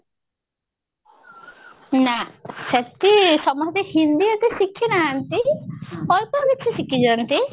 ନା ସେଠି ସମସ୍ତେ ହିନ୍ଦୀ ଏତେ ଶିଖି ନାହାନ୍ତି ଅଳ୍ପକିଛି ଶିଖି ଛନ୍ତି